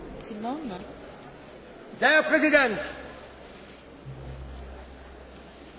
Meine Damen und Herren! Sie sind sicherlich alle informiert über den schwerwiegenden Vorfall, der sich